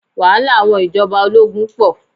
Wàhálà àwọn ìjọba ológun pọ̀.